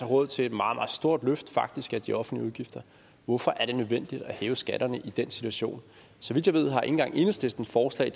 råd til et meget meget stort løft faktisk af de offentlige udgifter hvorfor er det nødvendigt at hæve skatterne i den situation så vidt jeg ved har ikke engang enhedslisten forslag